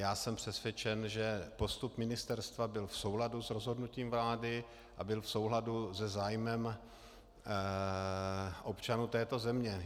Já jsem přesvědčen, že postup ministerstva byl v souladu s rozhodnutím vlády a byl v souladu se zájmem občanů této země.